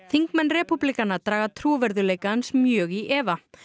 þingmenn repúblikana draga trúverðugleika hans mjög í efa